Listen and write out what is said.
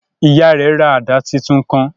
Ìyá rẹ rà àdá títún kàn